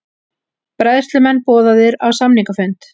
Bræðslumenn boðaðir á samningafund